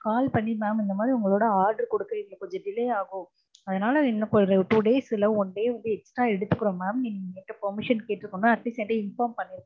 Call பண்ணி mam இந்த மாதிரி உங்களொட order குடுக்க எங்களுக்கு கொஞ்சம் delay ஆகும் அதுனால எங்களுக்கு two days இல்ல one day வந்து extra எடுத்துக்குறொம் mam னு நீங்க permission கேட்டுருக்கனும் atleast inform பண்ணிருக்கன்னும்